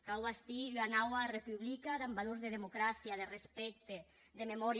cau bastir ua naua republica damb valors de democràcia de respècte de memòria